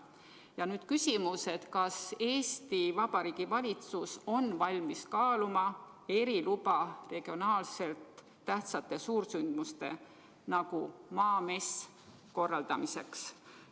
Ja nüüd küsimus: kas Eesti Vabariigi valitsus on valmis kaaluma eriloa andmist selliste regionaalselt tähtsate suursündmuste nagu Maamess korraldamiseks?